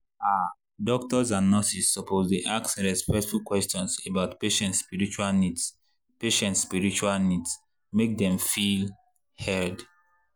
ah doctors and nurses suppose dey ask respectful questions about patient spiritual needs patient spiritual needs make dem feel heard.